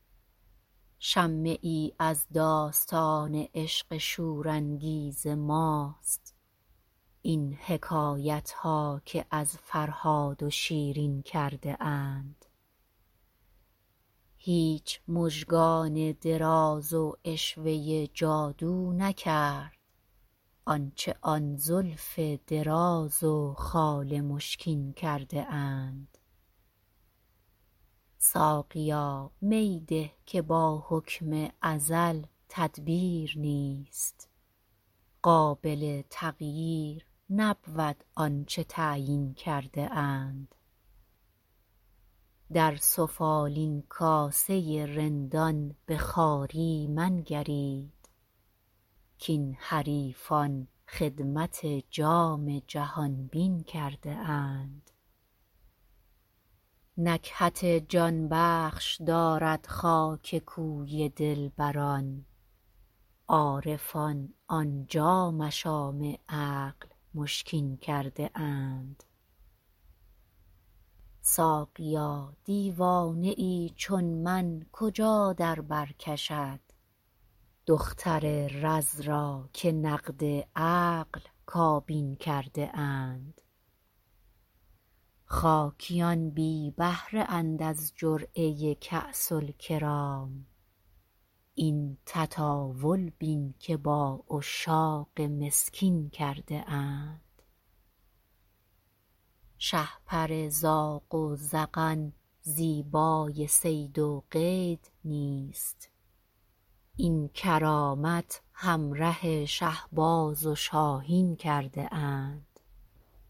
شمه ای از داستان عشق شورانگیز ماست این حکایت ها که از فرهاد و شیرین کرده اند هیچ مژگان دراز و عشوه جادو نکرد آنچه آن زلف دراز و خال مشکین کرده اند ساقیا می ده که با حکم ازل تدبیر نیست قابل تغییر نبود آنچه تعیین کرده اند در سفالین کاسه رندان به خواری منگرید کـ این حریفان خدمت جام جهان بین کرده اند نکهت جانبخش دارد خاک کوی دلبران عارفان آنجا مشام عقل مشکین کرده اند ساقیا دیوانه ای چون من کجا در بر کشد دختر رز را که نقد عقل کابین کرده اند خاکیان بی بهره اند از جرعه کاس الکرام این تطاول بین که با عشاق مسکین کرده اند شهپر زاغ و زغن زیبای صید و قید نیست این کرامت همره شهباز و شاهین کرده اند